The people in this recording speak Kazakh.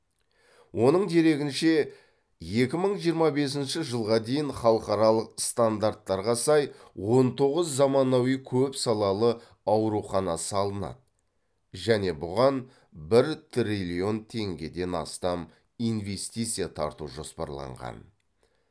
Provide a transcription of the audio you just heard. оның дерегінше екі мың жиырма бесінші жылға дейін халықаралық стандарттарға сай он тоғыз заманауи көпсалалы аурухана салынады және бұған бір триллион теңгеден астам инвестиция тарту жоспарланған